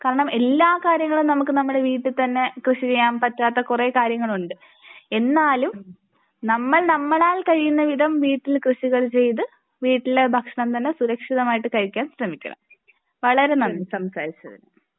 കാരണം എല്ലാ കാര്യങ്ങളും നമുക്ക് നമ്മുടെ വീട്ടിൽ തന്നെ കൃഷി ചെയ്യാൻ പറ്റാത്ത കുറെ കാര്യങ്ങളുണ്ട്. എന്നാലും നമ്മൾ നമ്മളാൽ കഴിയുന്ന വിധം വീട്ടിൽ കൃഷികൾ ചെയ്തത് വീട്ടിലെ ഭക്ഷണം തന്നെ സുരക്ഷിതമായി കഴിക്കാൻ ശ്രമിക്കണം. വളരെ നന്ദി സംസാരിച്ചതിന് .